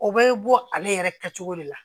O bɛ bɔ ale yɛrɛ kɛ cogo de la